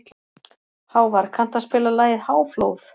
Hávar, kanntu að spila lagið „Háflóð“?